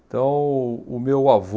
Então, o meu avô,